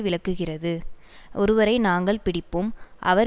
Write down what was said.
விளக்குகிறது ஒருவரை நாங்கள் பிடிப்போம் அவர்